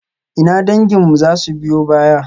Ina danginmu za su biyo baya?